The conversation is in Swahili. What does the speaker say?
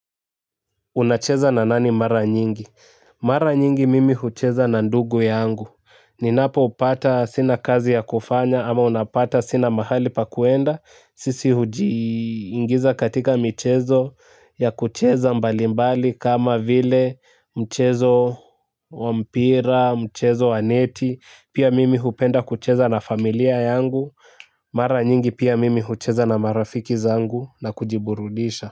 Unacheza na nani mara nyingi? Mara nyingi mimi hucheza na ndugu yangu. Ninapopata sina kazi ya kufanya ama unapata sina mahali pa kuenda. Sisi hujiingiza katika michezo ya kucheza mbalimbali kama vile mchezo wa mpira, mchezo wa neti. Pia mimi hupenda kucheza na familia yangu. Mara nyingi pia mimi hucheza na marafiki zangu na kujiburudisha.